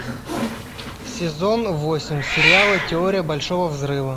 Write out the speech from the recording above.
сезон восемь сериала теория большого взрыва